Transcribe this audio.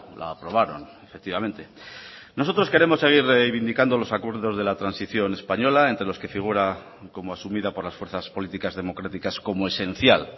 la aprobaron efectivamente nosotros queremos seguir reivindicando los acuerdos de la transición española entre los que figura como asumida por las fuerzas políticas democráticas como esencial